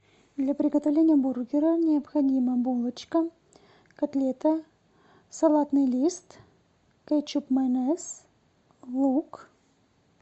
для приготовления бургера необходима булочка котлета салатный лист кетчуп майонез лук